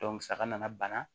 saga nana bana